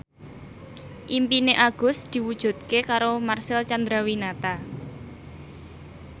impine Agus diwujudke karo Marcel Chandrawinata